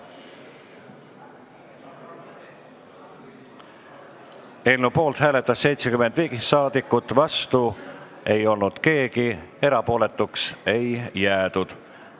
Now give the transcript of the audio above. Hääletustulemused Eelnõu poolt hääletas 75 saadikut, vastu ei olnud keegi, erapooletuks ei jäädud.